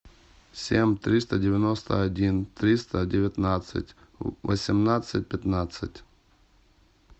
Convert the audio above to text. семь триста девяносто один триста девятнадцать восемнадцать пятнадцать